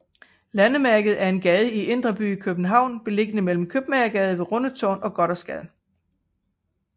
Landemærket er en gade i Indre By i København beliggende mellem Købmagergade ved Rundetårn og Gothersgade